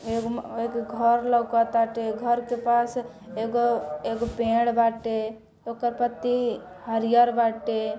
एगो में एगो घर लोका ताटे घर के पास एगो एगो पेड़ बाटे ओकर पत्ती हरियर बाटे।